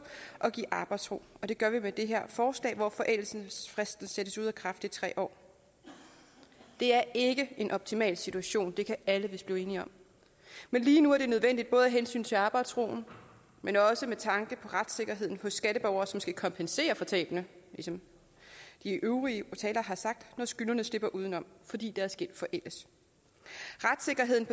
og give arbejdsro og det gør vi med det her forslag hvor forældelsesfristen sættes ud af kraft i tre år det er ikke en optimal situation det kan alle vist blive enige om men lige nu er det nødvendigt både af hensyn til arbejdsroen men også med tanke på retssikkerheden hos skatteborgere som skal kompensere for tabene som de øvrige talere har sagt når skyldnerne slipper udenom fordi deres gæld forældes retssikkerheden